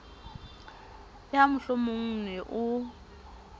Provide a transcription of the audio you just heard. le ha mohlomongo ne o